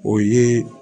O ye